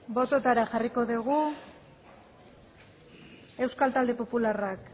bototara jarriko dugu euskal talde popularrak